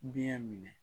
Biyɛn minɛ